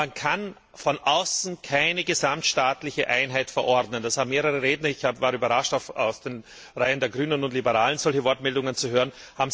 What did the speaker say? Man kann von außen keine gesamtstaatliche Einheit verordnen. Das haben mehrere Redner erkannt ich war überrascht, aus den Reihen der Grünen und Liberalen solche Wortmeldungen zu hören.